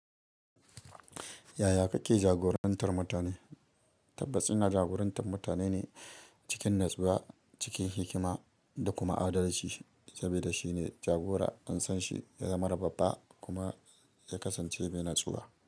Yaya kake jagorantar mutane? Tabbas ina jagoran tar mutane ne cikin nutsuwa cikin hikima da kuma adalci saboda shine jagora an sanshi ya zamana babba kuma ya kasance mai natsuwa.